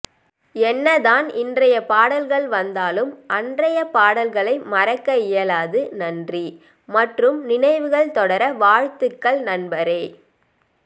என்னதான் இன்றைய பாடல்கள் வந்தாலும் அன்றைய பாடல்களை மறக்க இயலாது நன்றி மற்றும் நினைவுகள் தொடர வாழ்த்துக்கள் நண்பரே